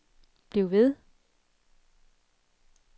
bliv ved